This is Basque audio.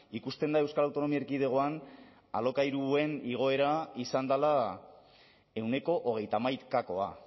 ikusten da euskal autonomia erkidegoan alokairuen igoera izan dela ehuneko hogeita hamaikakoa